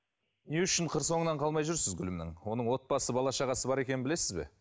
не үшін қыр соңынан қалмай жүрсіз гүлімнің оның отбасы бала шағасы бар екенін білесіз бе